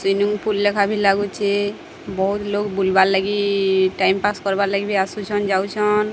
ସୁଇନୁଙ୍ଗ୍ pool ଲେଖା ବି ଲାଗୁଛି ବୋହୁତ୍ ଲୋକ୍ ବୁଲ୍ ବାର୍ ଲାଗି ଟାଇମ୍ ପାସ୍ କାର୍ବା ଲାଗି ବି ଆସୁଛନ୍ ଯାଉଛନ୍।